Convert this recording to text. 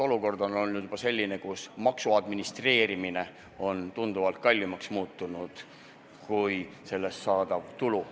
Olukord on juba selline, kus selle maksu administreerimine on tunduvalt kallim, kui katab sellest saadav tulu.